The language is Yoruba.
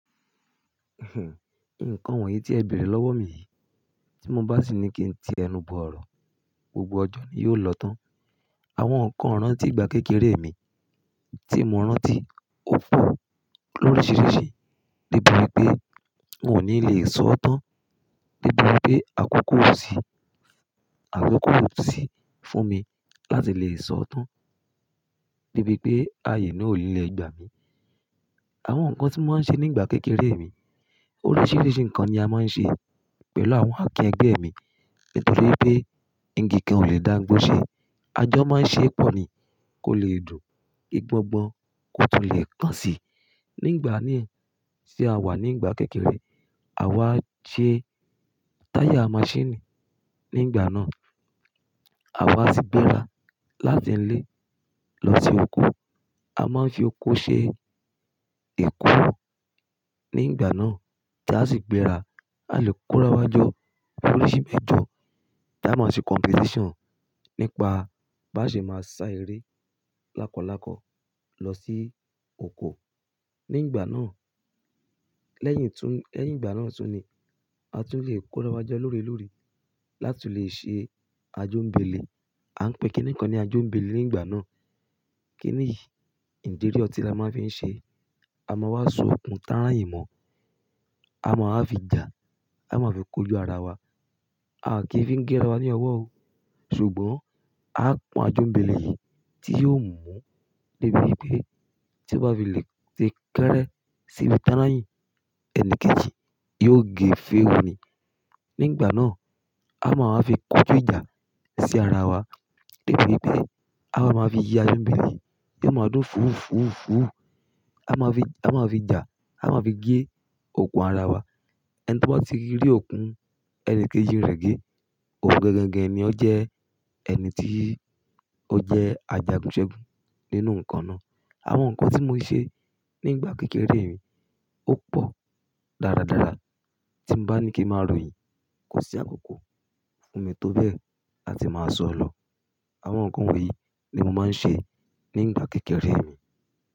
Nǹkan wọ̀nyí tí ẹ bèrè lọ́wọ́ mi yìí, tí mo bá sì ní kí n ti ẹnu bọ̀ ọ̀rọ̀, gbogbo ọjọ́ ni yóò lọ tán. Àwọn nǹkan rántí ìgbà kékeré mi tí mo rántí ó pọ̀ lóríṣiríṣi, níbi pé n ò ní le sọ ọ́ tán, níbi pé àkókò ò sí, àkókò ò sí fún mi láti lè sọ ọ́ tán, debi i pé àyè náà ò ni lè gba mi. Àwọn nǹkan tí mo máa ń ṣe ní ìgbà kékeré mi, oríṣiríṣi nǹkan ni a máa ń ṣe pẹ̀lú àwọn àkín ẹgbẹ́ mi, n torí wipé igi kan ò lè dáńgọ́ ṣe, a jọ máa ń ṣe é pọ̀ ni kó lè dùn. Igbọ́n gbọ́n kó tó le ẹ̀ kàn si. Ní ngbà mi tí a wà ní ngbà kékeré, àwa ṣe táyà maṣíìnì ní ngbà náà. Àwa sì gbéra láti ilé lọ sí oko. A máa ń fi oko ṣe ẹ̀kú ní ngbà náà tí a sì gbéra. A lè kórawọ́ jọ oríṣi ẹ̀jọ́ tí a máa ṣe competition nípa bá ṣe máa sá eré lákọ̀làkọ̀ lọ sí oko ní ìgbà náà. Lẹ́yìn tún, lẹ́yìn ìgbà náà tún ni a tún lè kórawọ́ jọ lórelóore láti lè ṣe ajómèbèlé. A ń pè kìn-ín-ní kan ní ajómèbèlé ní ìgbà náà. Kín ni yí ńdẹ́rí ọtí la máa fi ń ṣe. A máa wá sun okùn tàráyìn mọ́, a máa wá fi jà, a máa fi kó ju ara wa. A kì í fi ń gé ara wa ní ọwọ́ o. Ṣùgbọ́n a pọ́n ajómèbèlé yìí tí yóò mú debi wipé tí ó bá fi lè ti kẹ́rẹ́ síbi tàráyìn, ẹni kejì yóò gé fèré ni. Ní ìgbà náà, a máa wá fi kó ju ìjà sí ara wa debi wipé a wa máa fi yi ajómèbèlé bí ó ma dún fúùfúùfú. A máa fi, a máa fi jà, a máa fi gé okùn ara wa. Ẹni to baa ti rí okùn ẹni kejì ń rẹ̀ gé, òun gangangan ni ọ́ jẹ́ ẹni tí ó jẹ́ ajagùnṣegùn nínú nǹkan náà. Àwọn nǹkan tí mo ṣe nígbà kékeré mi ó pọ̀ dáradára. Tí mo bá ní kí n máa ròyìn, kò sí àkókò fún mi tó bẹ́ẹ̀ láti máa sọ ọ́ lọ. Àwọn nǹkan wọ̀nyí ni mo máa ń ṣe ní ìgbà kékeré mi.